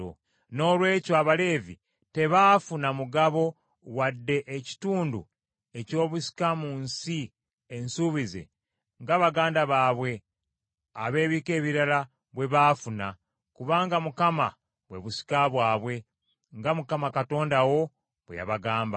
Noolwekyo Abaleevi tebaafuna mugabo wadde ekitundu eky’obusika mu nsi ensuubize nga baganda baabwe ab’ebika ebirala bwe baafuna; kubanga Mukama bwe busika bwabwe, nga Mukama Katonda wo bwe yabagamba.